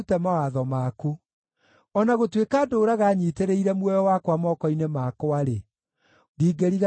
O na gũtuĩka ndũũraga nyiitĩrĩire muoyo wakwa moko-inĩ makwa-rĩ, ndingĩriganĩrwo nĩ watho waku.